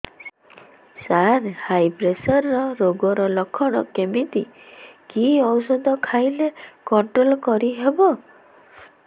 ସାର high pressure ରୋଗର ଲଖଣ କେମିତି କି ଓଷଧ ଖାଇଲେ କଂଟ୍ରୋଲ କରିହେବ